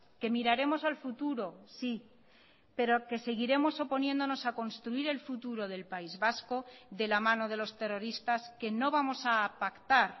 que miraremos al futuro sí pero que seguiremos oponiéndonos a construir el futuro del país vasco de la mano de los terroristas que no vamos a pactar